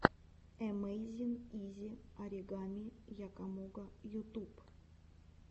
эмэйзин изи оригами якомога ютюб